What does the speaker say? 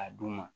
A dun ma